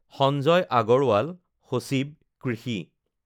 সঞ্জয় আগৰৱাল, সচিব, কৃষি